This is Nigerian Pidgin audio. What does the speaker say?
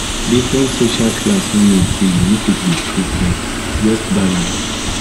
different social class no mean say you no fit be true friend just balance